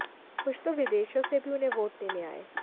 कुछ तो विदेशों से भी उन्हें वोट देने आए